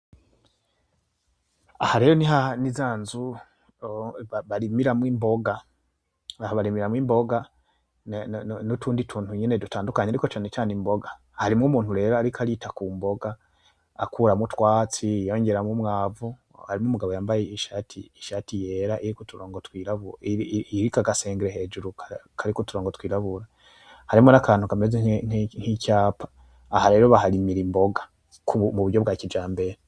Aha rero ni zanzu barimiramwo imboga, aha barimiramwo imboga nutundi tuntu nyene dutandukanye, ariko cane came imboga, harimwo umuntu rero ariko arita kumboga akuramwo utwatsi yongeramwo umwavu. harimwo umugabo yambaye ishati yera iriko uturongo twirabura iriko aga senglet hejuru kariko uturongo twirabura, harimwo nakantu kameze nkicapa, aha rero baharimira imboga.